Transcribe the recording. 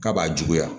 K'a b'a juguya